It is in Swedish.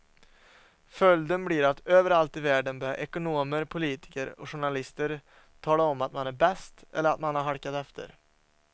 Följden blir att överallt i världen börjar ekonomer, politiker och journalister tala om att man är bäst eller att man har halkat efter.